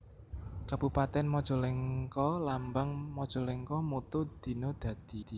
Kabupatèn MajalengkaLambang MajalengkaMotto Dina Dadi